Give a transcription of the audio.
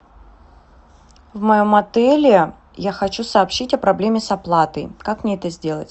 в моем отеле я хочу сообщить о проблеме с оплатой как мне это сделать